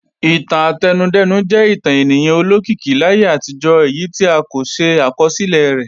Ìtàn átẹnudẹ́nu jẹ́ ìtàn ènìyàn olókìkí láyé àtijọ́ èyí tí a kò ṣe àkọsílẹ̀ rẹ̀